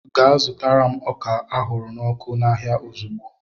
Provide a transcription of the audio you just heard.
Gaa zụtara m ọka ahụrụ n'ọkụ n'ahịa ozugbo!